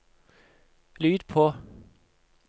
lyd på